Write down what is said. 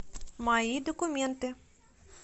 мои документы